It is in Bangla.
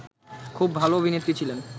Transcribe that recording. খুব ভালো অভিনেত্রী ছিলেন